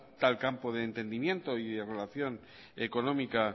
tal campo de entendimiento y relación económica